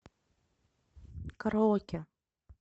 караоке